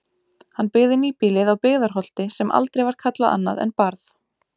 Hann byggði nýbýlið á Byggðarholti sem aldrei var kallað annað en Barð.